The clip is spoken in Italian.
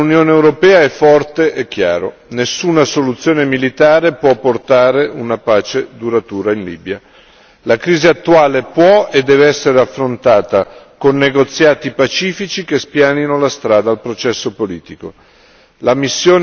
Il messaggio dell'Unione europea è forte e chiaro nessuna soluzione militare può portare una pace duratura in Libia. La crisi attuale può e deve essere affrontata con negoziati pacifici che spianino la strada al processo politico.